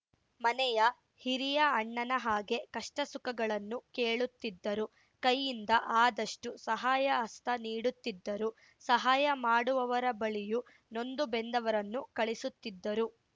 ಮನೆಯ ಹಿರಿಯ ಅಣ್ಣನ ಹಾಗೆ ಕಷ್ಟಸುಖಗಳನ್ನು ಕೇಳುತ್ತಿದ್ದರು ಕೈಯಿಂದ ಆದಷ್ಟುಸಹಾಯಹಸ್ತ ನೀಡುತ್ತಿದ್ದರು ಸಹಾಯ ಮಾಡುವವರ ಬಳಿಯೂ ನೊಂದುಬೆಂದವರನ್ನು ಕಳಿಸುತ್ತಿದ್ದರು